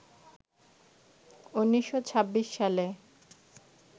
১৯২৬ সালে